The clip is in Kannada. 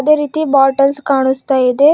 ಅದೇ ರೀತಿ ಬಾಟೆಲ್ಸ್ ಕಾಣಸ್ತಾ ಇದೆ.